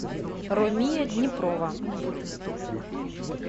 ромия днепрова